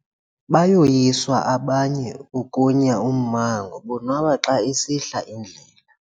Bayoyiswa abanye ukunya ummango bonwaba xa isihla indlela.